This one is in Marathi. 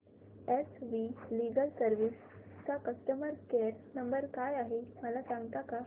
एस वी लीगल सर्विसेस चा कस्टमर केयर नंबर काय आहे मला सांगता का